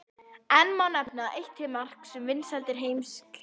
Enn má nefna eitt til marks um vinsældir Heimskringlu.